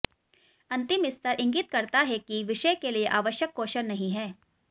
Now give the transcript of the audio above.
अंतिम स्तर इंगित करता है कि विषय के लिए आवश्यक कौशल नहीं है